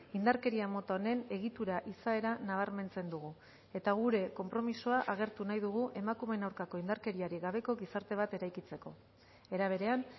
indarkeria mota honen egitura izaera nabarmentzen dugu eta gure konpromisoa agertu nahi dugu emakumeen aurkako indarkeriarik gabeko gizarte bat eraikitzeko era berean